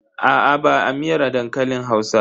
Aa ba a miyar dankalin Hausa.